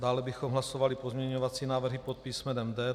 Dále bychom hlasovali pozměňovací návrhy pod písmenem D.